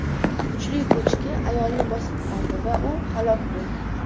Kuchli ko‘chki ayolni bosib qoldi va u halok bo‘ldi.